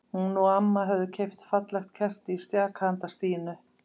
Hún og amma höfðu keypt fallegt kerti í stjaka handa Stínu.